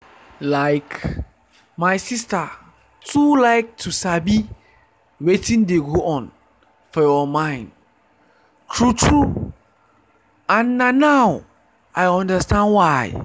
like my sister too like to sabi wetin dey go on for your mind true-true and na now i understand why.